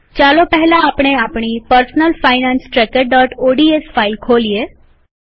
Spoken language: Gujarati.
ચાલો પહેલા આપણે આપણી પર્સનલ ફાઈનાન્સ ટ્રેકરઓડીએસ ફાઈલ ખોલીએ